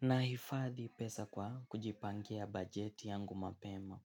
Naifadhi pesa kwa kujipangia bajeti yangu mapema.